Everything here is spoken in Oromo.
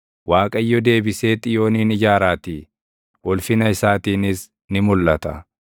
Waaqayyo deebisee Xiyoonin ijaaraatii; ulfina isaatiinis ni mulʼata.